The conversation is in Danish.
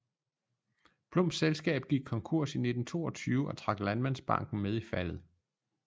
Plums selskab gik konkurs i 1922 og trak landmandsbanken med i faldet